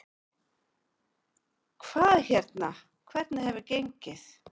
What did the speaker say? Hvað hérna, hvernig hefur gengið?